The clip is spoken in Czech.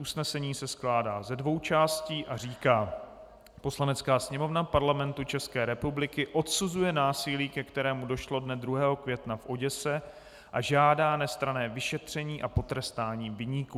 Usnesení se skládá ze dvou částí a říká: "Poslanecká sněmovna Parlamentu České republiky odsuzuje násilí, ke kterému došlo dne 2. května v Oděse, a žádá nestranné vyšetření a potrestání viníků.